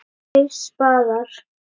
Tveir spaðar